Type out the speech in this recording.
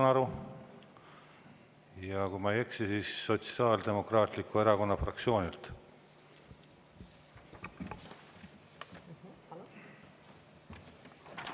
Ma saan aru, kui ma ei eksi, Sotsiaaldemokraatliku Erakonna fraktsioonilt.